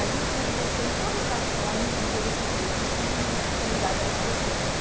A gente se manifestou em todas as ações de interesse público que li que estão ligadas a essa questão.